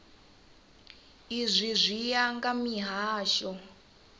izwi zwi ya nga mihasho